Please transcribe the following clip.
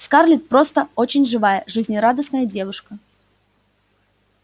скарлетт просто очень живая жизнерадостная девушка